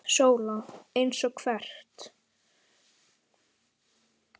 SÓLA: Eins og hvert?